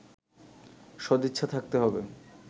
সদিচ্ছা থাকতে হবে